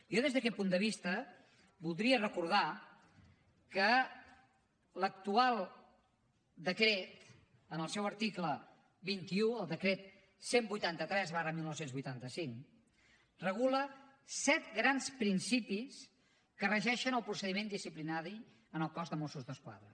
jo des d’aquest punt de vista voldria recordar que l’actual decret en el seu article vint un el decret cent i vuitanta tres dinou vuitanta cinc regula set grans principis que regeixen el procediment disciplinari en el cos de mossos d’esquadra